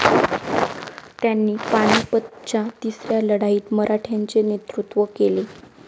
त्यांनी पानिपतच्या तिसऱ्या लढाईत मराठ्यांचे नेतृत्व केले.